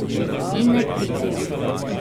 In ne pridejo.